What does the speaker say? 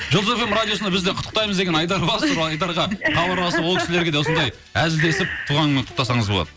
жұлдыз фм радиосына бізде құттықтаймыз деген айдар бар сол айдарға хабарласып ол кісілерге де осылай әзілдесіп туған күнімен құттықтасаңыз болады